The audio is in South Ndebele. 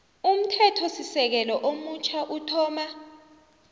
umthethosisekelo omutjha uthoma